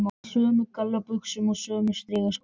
Í sömu gallabuxunum og sömu strigaskónum.